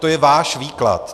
To je váš výklad.